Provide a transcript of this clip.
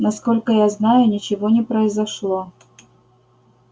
насколько я знаю ничего не произошло